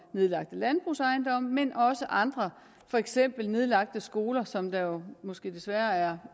nedlagte landbrugsejendomme men også andre for eksempel nedlagte skoler som der jo måske desværre